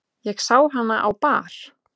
Ég sá hana á bar.